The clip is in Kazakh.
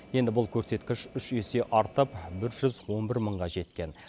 енді бұл көрсеткіш үш есе артып бір жүз он бір мыңға жеткен